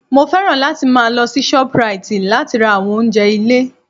Mo fẹ́ràn láti máa lọ sí Shoprite láti ra àwọn oúnjẹ ilé